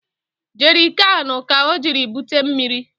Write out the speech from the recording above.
Jerịkanụ ka o jiri bute mmiri